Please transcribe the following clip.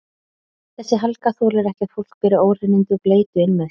Þessi Helga þolir ekki að fólk beri óhreinindi og bleytu inn með sér.